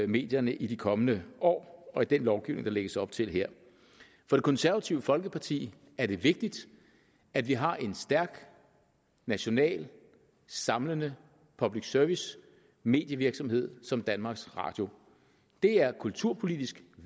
medierne i de kommende år og i den lovgivning der lægges op til her for det konservative folkeparti er det vigtigt at vi har en stærk nationalt samlende public service medievirksomhed som danmarks radio det er kulturpolitisk